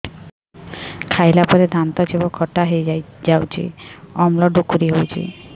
ଖାଇଲା ପରେ ଦାନ୍ତ ଜିଭ ଖଟା ହେଇଯାଉଛି ଅମ୍ଳ ଡ଼ୁକରି ହଉଛି